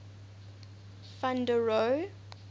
van der rohe